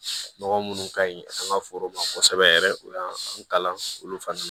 Nɔgɔ munnu ka ɲi an ka foro ma kosɛbɛ yɛrɛ o y'an kalan olu fana